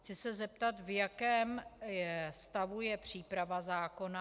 Chci se zeptat, v jakém stavu je příprava zákona.